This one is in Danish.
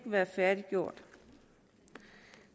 være færdiggjort